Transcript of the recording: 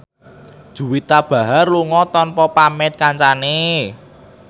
Juwita Bahar lunga tanpa pamit kancane